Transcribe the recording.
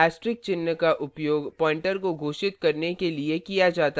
asterisk चिन्ह का उपयोग pointer को घोषित करने के लिए किया जाता है